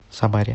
самаре